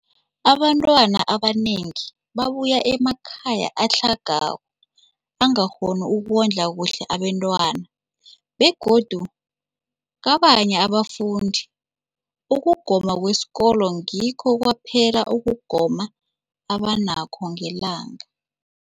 Abantwana abanengi babuya emakhaya atlhagako angakghoni ukondla kuhle abentwana, begodu kabanye abafundi, ukugoma kwesikolweni ngikho kwaphela ukugoma abanakho ngelanga.